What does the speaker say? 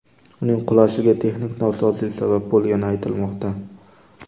Uning qulashiga texnik nosozlik sabab bo‘lgani aytilmoqda.